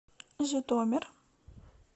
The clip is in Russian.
житомир